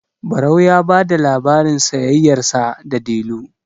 barau ya ba da labarin sayayyarsa da delu